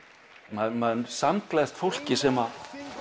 maður maður samgleðst fólki sem